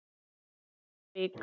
á Dalvík.